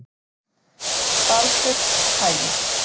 Baldurshagi